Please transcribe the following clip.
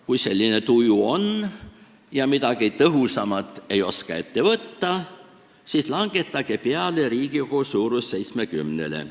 Kui selline tuju on ja midagi tõhusamat ei oska ette võtta, siis langetage pealegi Riigikogu suurus 70-le.